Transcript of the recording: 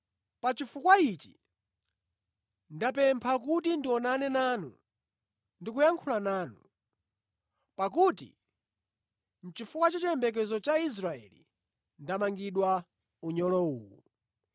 Pa chifukwa ichi ndapempha kuti ndionane nanu ndi kuyankhula nanu. Pakuti nʼchifukwa cha chiyembekezo cha Israeli ndamangidwa unyolo uwu.”